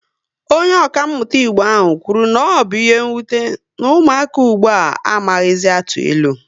Onye okamuta Igbo ahụ kwuru na ọ bụ ihe nwute, na ụmụaka ugbua a amaghịzi atụ ilu